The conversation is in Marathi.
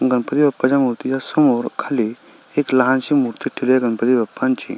गणपती बाप्पा च्या मूर्ती च्या समोर खाली एक लहान शी मूर्ती ठेवलेली आहे गणपती बाप्पा ची.